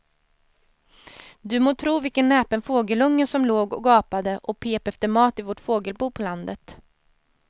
Du må tro vilken näpen fågelunge som låg och gapade och pep efter mat i vårt fågelbo på landet.